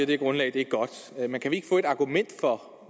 det grundlag er godt men kan vi ikke få et argument for